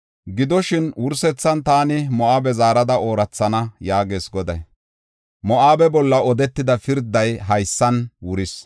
Gidoshin, wursethan taani Moo7abe zaarada oorathana” yaagees Goday. Moo7abe bolla odetida pirday haysan wuris.